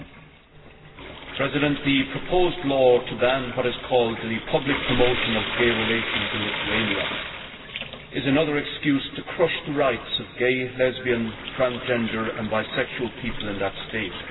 Madam President, the proposed law to ban what is called the public promotion of gay relations in Lithuania is another excuse to crush the rights of gay, lesbian, transgender and bisexual people in that state.